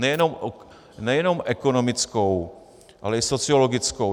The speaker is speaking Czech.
Nejenom ekonomickou, ale i sociologickou.